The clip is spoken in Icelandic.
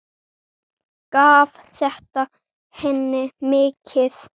Gaf þetta henni mikið.